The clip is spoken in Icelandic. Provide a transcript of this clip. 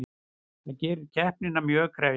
Það gerir keppnina mjög krefjandi